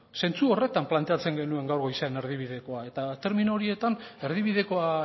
zentzu horretan planteatzen genuen gaur goizean erdibidekoa eta termino horietan erdibidekoa